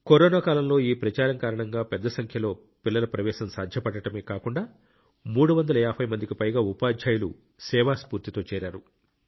corona కాలంలో ఈ ప్రచారం కారణంగా పెద్ద సంఖ్యలో పిల్లల ప్రవేశం సాధ్యపడటమే కాకుండా 350 మందికి పైగా ఉపాధ్యాయులు సేవా స్ఫూర్తితో చేరారు